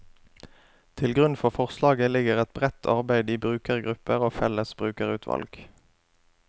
Til grunn for forslaget ligger et bredt arbeid i brukergrupper og felles brukerutvalg.